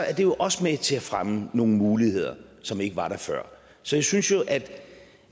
er det jo også med til at fremme nogle muligheder som ikke var der før så jeg synes jo